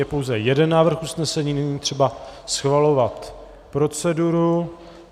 Je pouze jeden návrh usnesení, není třeba schvalovat proceduru.